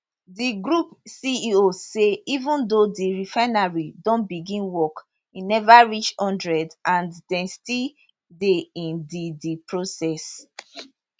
di group ceo say even though di refinery don begin work e never reach one hundred and dem still dey in di di process